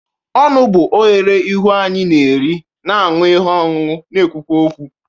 Ọnụ bụ oghere ihu anyị na-eri, na-aṅụ ihe ọṅụṅụ, na-ekwukwa okwu.